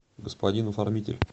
господин оформитель